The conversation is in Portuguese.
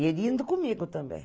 E ele indo comigo também.